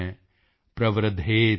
ਤਸ੍ਮਾਤ੍ ਸ਼ੇਸ਼ਮ੍ ਨ ਕਾਰਯੇਤ